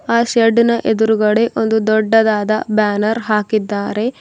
ಆ ಶೇಡ್ ನ ಎದುರುಗಡೆ ಒಂದು ದೊಡ್ಡದಾದ ಬ್ಯಾನರ್ ಹಾಕಿದ್ದಾರೆ.